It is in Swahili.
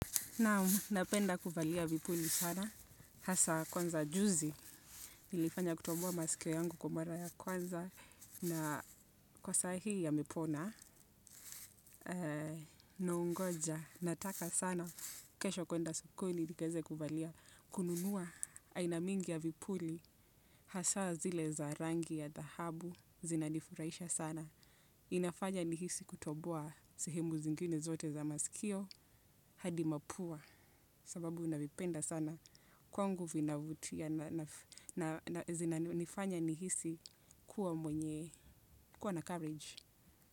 Naam, napenda kuvalia vipuli sana, hasa kwanza juzi, nilifanya kutoboa masikio yangu kwa mara ya kwanza, na kwa saa hii yamepona, naongoja, nataka sana, kesho kuenda sokoni, nikaeze kuvalia, kununua, aina mingi ya vipuli, hasa zile za rangi ya dhahabu, zinanifurahisha sana. Inafanya nihisi kutoboa sehemu zingine zote za masikio hadi mapua sababu navipenda sana kwangu vinavutia na zinanifanya nihisi kuwa mwenye kuwa na courage.